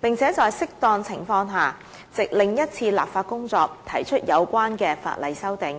並且在適當情況下，藉另一次立法工作提出有關的法例修訂。